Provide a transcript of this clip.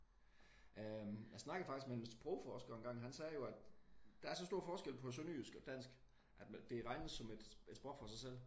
Øh jeg snakkede faktisk med en sprogforsker engang. Han sagde jo at der er så stor forskel på sønderjysk og dansk at det regnes som et sprog for sig selv